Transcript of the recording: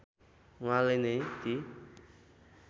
उहाँले नै ती